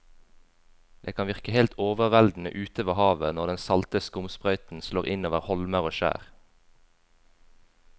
Det kan virke helt overveldende ute ved havet når den salte skumsprøyten slår innover holmer og skjær.